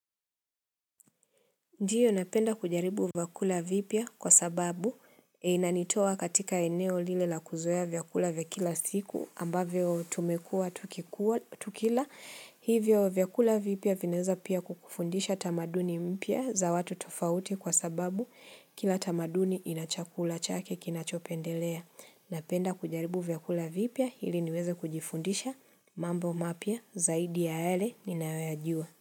Ndiyo napenda kujaribu vyakula vipya kwa sababu inanitoa katika eneo lile la kuzoea vyakula vya kila siku ambavyo tumekua tukikula tukila hivyo vyakula vipya vinaeza pia kukufundisha tamaduni mpya za watu tofauti kwa sababu kila tamaduni inachakula chake kinachopendelea napenda kujaribu vyakula vipya ili niweze kujifundisha mambo mapya zaidi ya yale ninayoyajua.